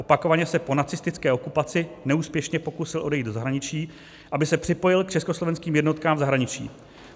Opakovaně se po nacistické okupaci neúspěšně pokusil odejít do zahraničí, aby se připojil k československým jednotkám v zahraničí.